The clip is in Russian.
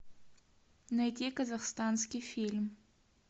найти казахстанский фильм